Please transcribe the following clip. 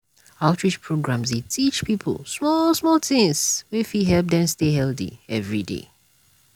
outreach programs dey teach people small-small things wey fit help dem stay healthy every day.